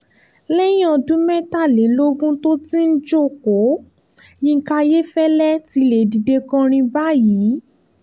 lẹ́yìn ọdún mẹ́tàlélógún tó ti ń jókòó yinka ayéfẹ́lẹ́ ti lè dìde kọrin báyìí